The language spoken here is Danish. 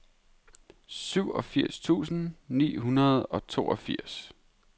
syvogfirs tusind ni hundrede og toogfirs